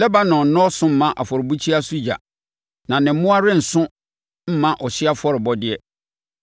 Lebanon nnɔɔso mma afɔrebukyia so ogya, na ne mmoa renso mma ɔhyeɛ afɔrebɔdeɛ.